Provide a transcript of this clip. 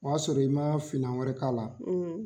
O y'a sɔrɔ i ma finan wɛrɛ k'a la.